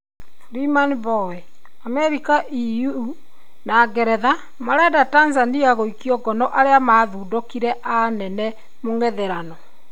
Freeman Mbowe:Amerika, EU, na Ngeretha marenda Tanzania gũikua ngono arĩa mathundikne a nene mũngetherano